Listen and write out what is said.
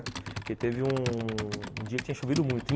Porque teve um dia que tinha chovido muito.